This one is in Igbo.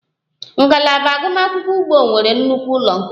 Ngalaba agụmakwụkwọ ugbo nwere nnukwu ụlọ nkuzi